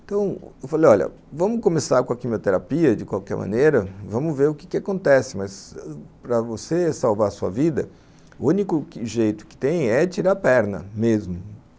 Então, eu falei, olha, vamos começar com a quimioterapia de qualquer maneira, vamos ver o que acontece, mas para você salvar sua vida, o único jeito que tem é tirar a perna mesmo.